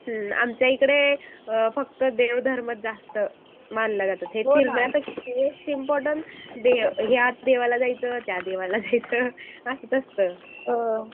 हं आमच्या इकडे अ फक्त देव धर्म जास्त मानल्या जातात मोस्ट इम्पॉरटंट या देवाला जायचं त्या देवाला जायचं असंच असतं.